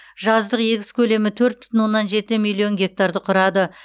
жаздық егіс көлемі төрт бүтін оннан жеті миллион гектарды құрады